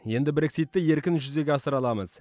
енді брекситті еркін жүзеге асыра аламыз